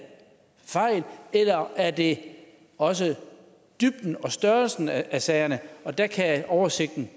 fejl eller er det også dybden og størrelsen af sagerne der kan oversigten